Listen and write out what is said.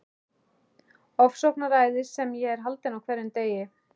Ofsóknaræðis sem ég er haldinn á hverjum degi.